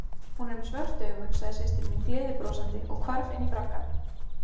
Hún er með svört augu, sagði systir mín gleiðbrosandi og hvarf inní braggann.